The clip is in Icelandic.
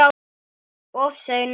Of seinir!